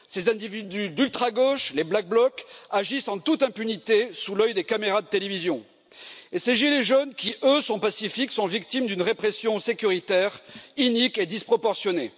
Ces individus d'ultragauche, les black bloc, agissent en toute impunité, sous l'œil des caméras de télévision et ces gilets jaunes qui, eux sont pacifiques, sont victimes d'une répression sécuritaire inique et disproportionnée.